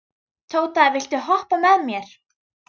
Tóta, viltu hoppa með mér?